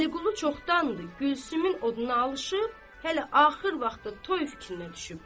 Vəliqulu çoxdandır Gülsümün oduna alışır, hələ axır vaxtı toy fikrinə düşübdü.